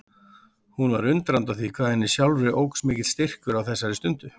Hún var undrandi á því hvað henni sjálfri óx mikill styrkur á þessari stundu.